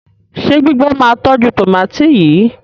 ṣe gbígbé má tọjú tomati yí?